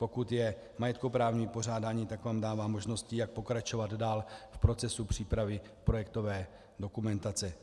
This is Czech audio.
Pokud je majetkoprávní vypořádání, tak tam dává možnost, jak pokračovat dál v procesu přípravy projektové dokumentace.